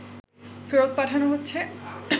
ফেরত পাঠানো হচ্ছে